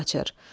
küçəyə qaçır.